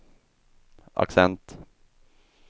accent